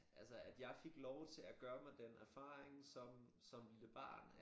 Altså at jeg fik lov til at gøre mig den erfaring som som lille barn at